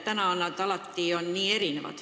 Praegu on need alati nii erinevad.